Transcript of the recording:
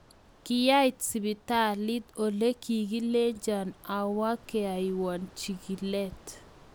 Kiait sipitai ole kikilenjo aawa keaiwa chikileet